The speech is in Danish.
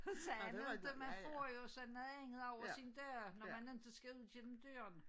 Og sådan noget inte man får jo så noget andet over sin dør når man inte skal ud gennem døren